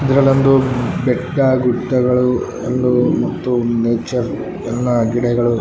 ಇದರಲ್ಲೊಂದು ಬೆಟ್ಟ ಗುಡ್ಡಗಳು ಒಂದು ಮತ್ತು ನೇಚರ್‌ ಎಲ್ಲ ಗಿಡಗಳು --